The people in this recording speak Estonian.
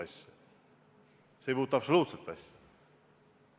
See ei puutu absoluutselt asjasse!